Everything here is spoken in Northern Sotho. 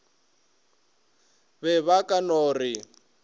be ba ka no re